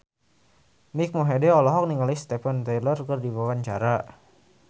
Mike Mohede olohok ningali Steven Tyler keur diwawancara